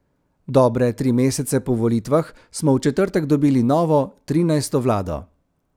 Dobre tri mesece po volitvah smo v četrtek dobili novo, trinajsto vlado.